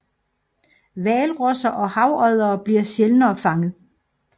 Hvalrosser og havoddere bliver sjældnere fanget